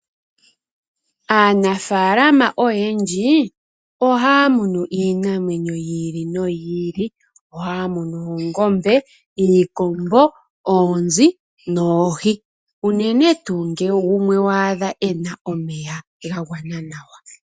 Aanafaalama oyendji ohaya munu iinamwenyo yiili noyili . Ohaya munu oongombe, iikombo , oonzi noohi unene tuu ngele waadha gumwe ena omeya gagwana nawa.